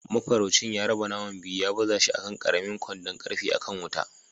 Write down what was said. Mafaraucin ya raba naman biyu ya baza shi a kan ƙaramin kwandon ƙarfe a kan wuta.